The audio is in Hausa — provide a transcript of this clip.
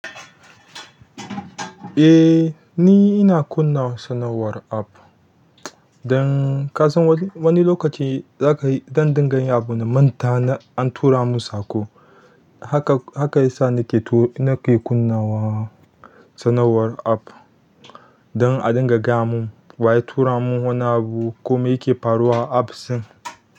Eh, ni ina kunna sanarwar app. Dan ka san wani lokaci za ka yi, don dinga yin abu na manta an tura mun saƙo. Haka, haka yasa nake tu-, nake kunnawa sanarwar app don a dinga gaya mun wa ya tura mun wani abu ko me yake faruwa a apps ɗin.